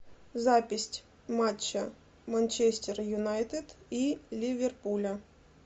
запись матча манчестер юнайтед и ливерпуля